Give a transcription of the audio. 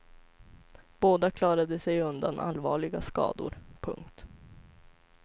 Båda klarade sig undan allvarliga skador. punkt